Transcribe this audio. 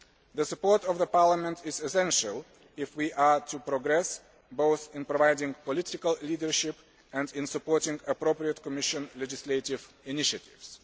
The support of Parliament is essential if we are to progress, both in providing political leadership and in supporting appropriate Commission legislative initiatives.